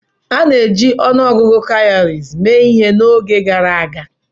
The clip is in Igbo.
A na-eji ọnụ ọgụgụ kawuries mee ihe n'oge gara aga.